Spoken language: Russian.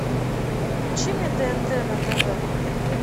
включи мне тнт на тв